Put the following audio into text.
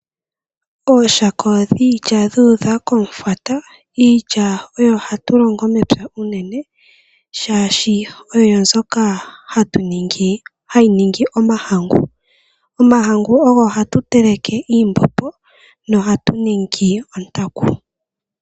Ooshaka dhiilya dhuudha komufwata. Iilya oyo hatu longo mepya unene, shaashi oyo mbyoka hayi ningi omahangu. Omahangu ogo hatu teleke iimbombo no hatu ningi ontanku.